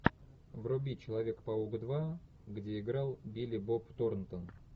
вруби человек паук два где играл билли боб торнтон